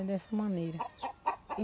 É dessa maneira.